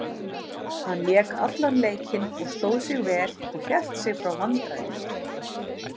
Hann lék allan leikinn og stóð sig vel og hélt sig frá vandræðum.